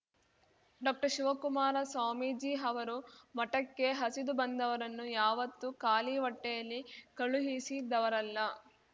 ಡಾಕ್ಟರ್ಶಿವಕುಮಾರ ಸ್ವಾಮೀಜಿ ಅವರು ಮಠಕ್ಕೆ ಹಸಿದು ಬಂದವರನ್ನು ಯಾವತ್ತೂ ಖಾಲಿ ಹೊಟ್ಟೆಯಲ್ಲಿ ಕಳುಹಿಸಿದವರಲ್ಲ